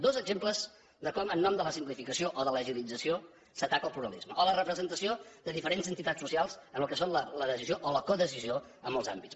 dos exemples de com en nom de la simplificació o de l’agilització s’ataca el pluralisme o la representació de diferents entitats socials en el que són la decisió o la codecisió en molts àmbits